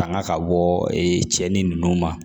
Tanga ka bɔ cɛnin ninnu ma